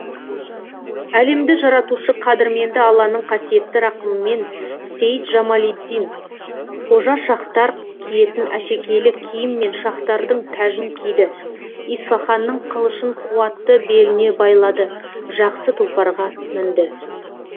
әлемді жаратушы қадірменді алланың қасиетті рақымымен сеид жамалиддин қожа шахтар киетін әшекейлі киім мен шахтардың тәжін киді исфаханның қылышын қуатты беліне байлады жақсы тұлпарға мінді